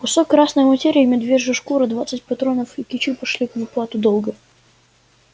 кусок красной материи медвежья шкура двадцать патронов и кичи пошли в уплату долга